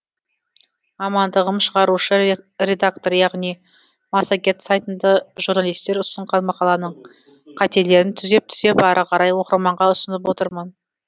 мамандығым шығарушы редактор яғни массагет сайтында журналистер ұсынған мақаланың қателерін түзеп күзеп ары қарай оқырманға ұсынып отырамын